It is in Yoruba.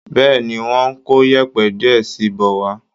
Bẹ́ẹ̀ ni, wọ́n ń kó yẹ̀ẹ̀pẹ̀ díẹ̀ sí i bọ̀ wá